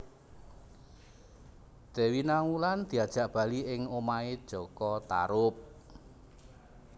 Dewi Nawang Wulan diajak bali ing omahé jaka Tarub